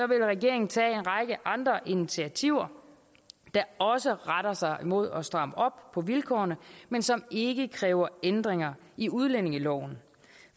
vil regeringen tage en række andre initiativer der også retter sig mod at stramme op på vilkårene men som ikke kræver ændringer i udlændingeloven